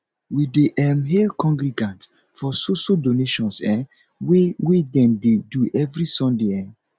me dey um hail congregants for so so donations um wey wey dem dey do every sunday um